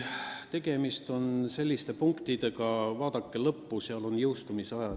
Tegemist on selliste punktidega, mille puhul on erinevad jõustumise ajad.